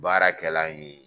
Baara kɛlan ye